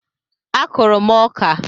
A kụrụ m ọka